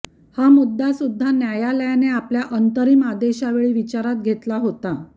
हा मुद्दा सुद्धा न्यायालयाने आपल्या अंतरिम आदेशावेळी विचारात घेतला होता